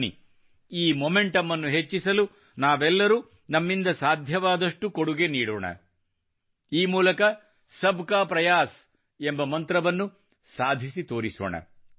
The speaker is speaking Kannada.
ಬನ್ನಿ ಈ ಮೊಮೆಂಟಮ್ ಹೆಚ್ಚಿಸಲು ನಾವೆಲ್ಲರೂ ನಮ್ಮಿಂದ ಸಾಧ್ಯವಾದಷ್ಟು ಕೊಡುಗೆ ನೀಡೋಣ ಈ ಮೂಲಕ ಸಬ್ಕಾ ಪ್ರಯಾಸ್ ಎಂಬ ಮಂತ್ರವನ್ನು ಸಾಧಿಸಿ ತೋರಿಸೋಣ